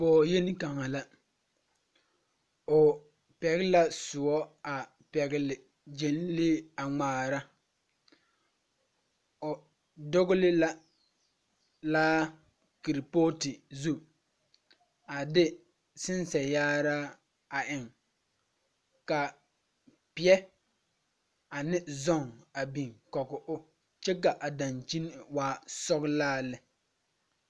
Pɔge yeni kaŋa la. O pɛgele la soɔ a pɛgele gyenlee a ŋmaara o dogele la laa kerepɔɔte zu. A de sensɛ yaaraa a eŋ ka peɛ ane zɔŋ a biŋ kɔge o kyɛ ka dakyini waa sɔgelaa lɛ